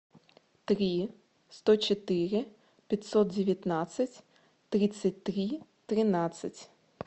три сто четыре пятьсот девятнадцать тридцать три тринадцать